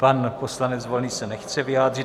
Pan poslanec Volný se nechce vyjádřit.